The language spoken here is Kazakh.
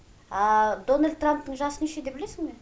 дональд трамптың жасы нешеде білесің бе